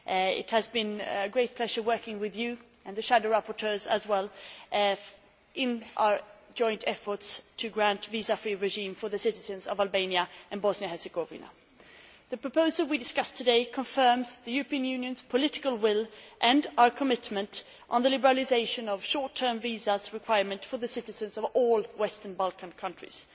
It has been a great pleasure working with you and the shadow rapporteurs as well in our joint efforts to grant a visa free regime to the citizens of Albania and Bosnia and Herzegovina. The proposal we discussed today confirms the European Union's political will and our commitment on the liberalisation of short term visa requirements for the citizens of all Western Balkan countries.